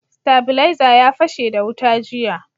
Stabilaiza ya fashe da wuta jiya.